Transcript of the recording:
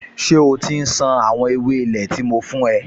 Ṣé o ti ń ṣan àwọn ewé ilé tí mo fún ẹ?